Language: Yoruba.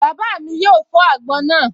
Bàbá mi yóò fọ́ àgbọn náà